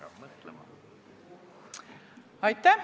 Aitäh!